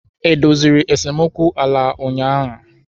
E doziri esemokwu ala ụnyahụ?